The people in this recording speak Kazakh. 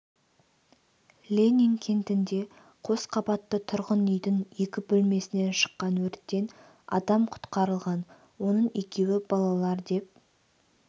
ленин кентінде қос қабатты тұрғын үйдің екі бөлмесінен шыққан өрттен адам құтқарылған оның екеуі балалар деп